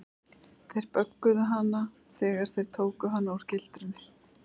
Þeir böggluðu hana þegar þeir tóku hana úr gildrunni.